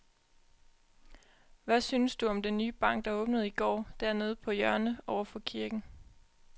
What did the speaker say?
Hvad synes du om den nye bank, der åbnede i går dernede på hjørnet over for kirken?